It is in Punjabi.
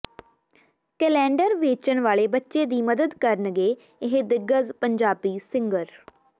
ਕੈਲੇਂਡਰ ਵੇਚਣ ਵਾਲੇ ਬੱਚੇ ਦੀ ਮਦਦ ਕਰਨਗੇ ਇਹ ਦਿੱਗਜ ਪੰਜਾਬੀ ਸਿੰਗਰ